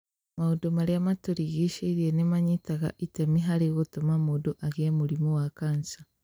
Maũndũ marĩa matũrigicĩirie nĩ manyitaga itemi harĩ gũtũma mũndũ agĩe mũrimũ wa kanja